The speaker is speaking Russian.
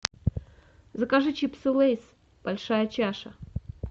закажи чипсы лейс большая чаша